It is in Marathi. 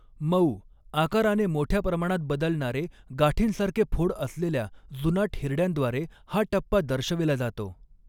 मऊ, आकाराने मोठ्या प्रमाणात बदलणारे गाठींसारखे फोड असलेल्या जुनाट हिरड्यांद्वारे हा टप्पा दर्शविला जातो.